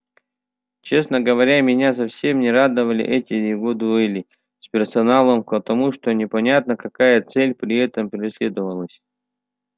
честно говоря меня совсем не радовали эти его дуэли с персоналом потому что непонятно какая цель при этом преследовалась